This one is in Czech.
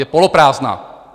- je poloprázdná.